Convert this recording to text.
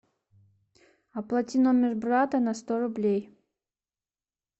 оплати номер брата на сто рублей